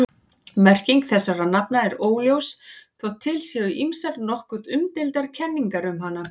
Merking þessara nafna er óljós þótt til séu ýmsar nokkuð umdeildar kenningar um hana.